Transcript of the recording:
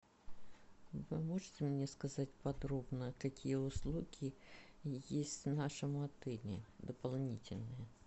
вы можете мне сказать подробно какие услуги есть в нашем отеле дополнительные